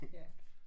Ja